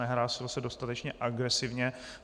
Nehlásil se dostatečně agresivně.